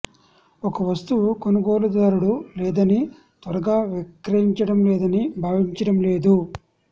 ఒక వస్తువు కొనుగోలుదారుడు లేదని త్వరగా విక్రయించడం లేదని భావించడం లేదు